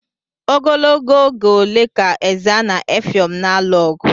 Ogologo oge ole ka Ezza na Effium na-alụ ogu?